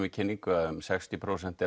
í kynningunni að um sextíu prósent